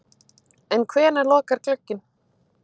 En hvenær lokar glugginn?